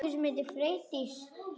Jesús minn stundi Kata.